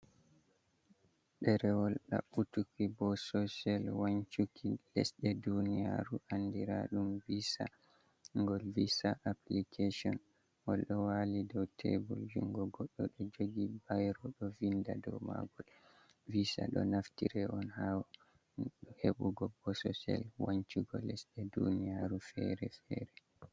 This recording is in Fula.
Ɗerewol daɓɓutuki bososel wancuki lesɗe duniyaru andira ɗum Visa. Ngol Viza aplikeshon, ngol ɗo wali dou tebul, jungo goɗɗo ɗo jogi bairo ɗo vinda dou magol. Viza ɗo naftire on ha heɓugo bososel wancugo lesɗe duniyaru fere-fere.